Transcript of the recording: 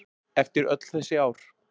Eftir öll þessi ár.